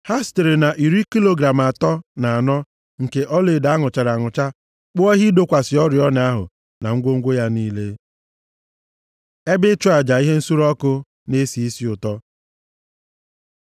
Ha sitere na iri kilogram atọ na anọ nke ọlaedo a nụchara anụcha kpụọ ihe ịdọkwasị oriọna ahụ na ngwongwo ya niile. Ebe ịchụ aja ihe nsure ọkụ na-esi isi ụtọ